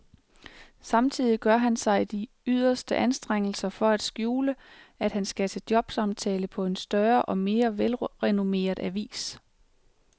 Samtidig gør han sig de yderste anstrengelser for at skjule, at han skal til jobsamtale på en større og mere velrenommeret avis.